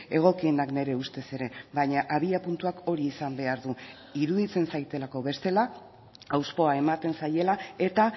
egokienak nire ustez ere baina abiapuntuak hori izan behar du iruditzen zaidalako bestela hauspoa ematen zaiela eta